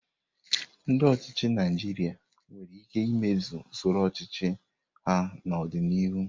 Ndi ochịchị Naijiria nwere ike imezi usoro ọchịchị ha n'ọdịnihu.